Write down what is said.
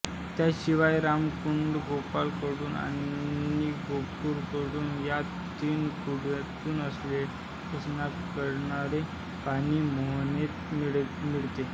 त्याशिवाय रामकुंड गोपाळकुंड आणि गोरखकुंड या तीन कुंडांतून ओसंडणारे पाणी मोहनेत मिसळते